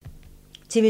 TV 2